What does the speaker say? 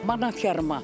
Manat yarım idi.